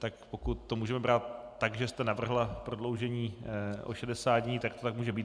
Tak pokud to můžeme brát tak, že jste navrhla prodloužení o 60 dnů, tak to tak může být.